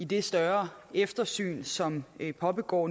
det større eftersyn som pågår